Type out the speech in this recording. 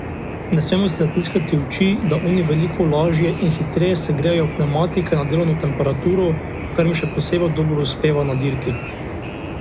Ne smemo si zatiskati oči, da oni veliko lažje in hitreje segrejejo pnevmatike na delovno temperaturo, kar jim še posebno dobro uspeva na dirki.